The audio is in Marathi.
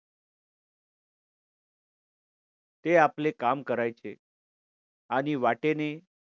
ते आपले काम करायचे. आणि वाटेने